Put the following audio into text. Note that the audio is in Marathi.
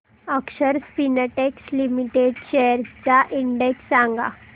अक्षर स्पिनटेक्स लिमिटेड शेअर्स चा इंडेक्स सांगा